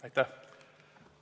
Aitäh!